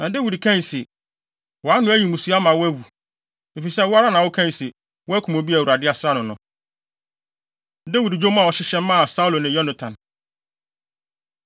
Na Dawid kae se, “Wʼano ayi mmusu ama wo ama woawu, efisɛ wo ara na wokae se woakum obi a Awurade asra no no.” Dawid Dwom A Ɔhyehyɛ Maa Saulo Ne Yonatan